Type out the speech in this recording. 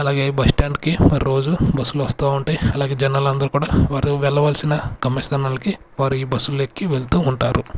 అలాగే bus stand కి మరి రోజు బస్సు లు వస్తా ఉంటాయ్ అలాగే జానాలు అందరు కూడా వారు వెళ్ళవల్సిన గమ్యస్థానాలికి వారు ఈ బస్సుల్ని ఎక్కి వెల్తు ఉంటారు.